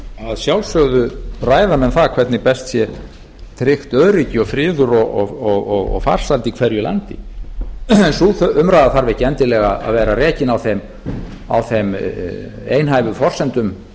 að sjálfsögðu ræða menn það hvernig best sé tryggt öryggi og friður og farsæld í hverju landi sú umræða þarf ekki endilega að vera rekin á þeim einhæfu forsendum